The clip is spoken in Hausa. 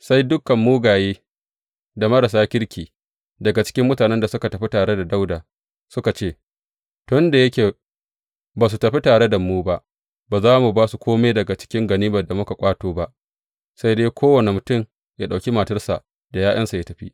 Sai dukan mugaye da marasa kirki daga cikin mutanen da suka tafi tare da Dawuda suka ce, Tun da yake ba su tafi tare da mu ba, ba za mu ba su kome daga cikin ganimar da muka ƙwato ba, sai dai kowane mutum yă ɗauki matarsa da ’ya’yansa yă tafi.